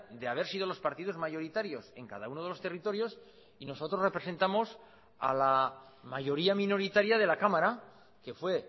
de haber sido los partidos mayoritarios en cada uno de los territorios y nosotros representamos a la mayoría minoritaria de la cámara que fue